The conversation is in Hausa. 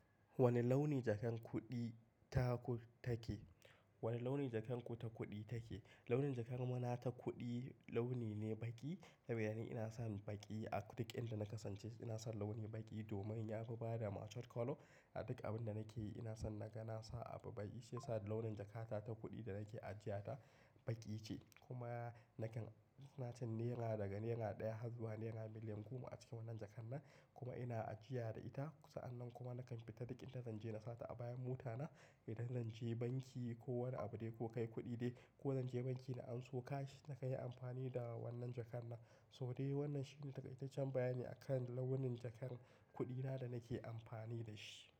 Wane launi jakan kuɗi ta ku take? Wane launi jakan ku ta kuɗi take? Launin jakan muna ta kuɗi launi ne baƙi, saboda yana ina son baƙi. A duk inda na kasance ina son launi baƙi domin ya fi bada mature colour. A duk abin da nake yi ina son naga na sa abu baƙi. Shi ya sa launin jakata ta kuɗi da nake ajiya ta baƙi ce. Kuma nakan nacen nera daga naira ɗaya har zuwa naira miliyan goma a cikin wannan jakan nan. Kuma ina ajiya da ita. Sa'annan kuma nakan fita duk inda zan je na sa ta a bayan mota na. In zan je banki ko wani abu dai ko kai kuɗi dai ko zan je banki na anso cash, na kai amfani da wannan jakan nan. To dai wannan shine takaitaccen bayanin akan launin jakan kudi na danake anfani dashi.